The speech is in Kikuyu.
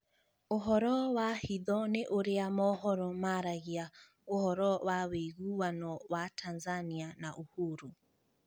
Ũhoro wa hitho nĩ ũrĩa mohoro maragia ũhoro wa ũiguano wa Tanzania na Uhuru.